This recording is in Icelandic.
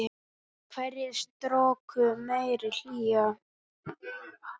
Í hverri stroku meiri hlýja.